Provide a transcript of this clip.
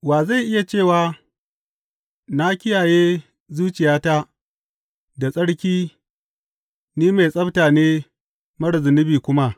Wa zai iya cewa, Na kiyaye zuciyata da tsarki; ni mai tsabta ne marar zunubi kuma?